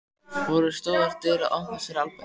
Voru stórar dyr að opnast fyrir Albert?